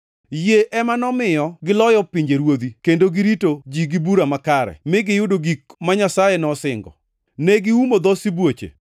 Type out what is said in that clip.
Yie ema nomiyo giloyo pinjeruodhi kendo girito ji gi bura makare, mi giyudo gik ma Nyasaye nosingo. Ne giumo dho sibuoche,